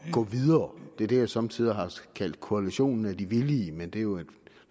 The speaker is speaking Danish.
gå videre det er det jeg somme tider har kaldt koalitionen af de villige men det er jo et